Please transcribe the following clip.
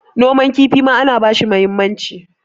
noman kifi ma ana bashi muhimmanci